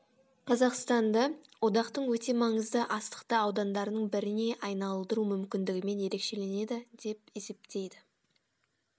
қазақстанды одақтың өте маңызды астықты аудандарының біріне айналдыру мүмкндігімен ерекшеленеді деп есептейді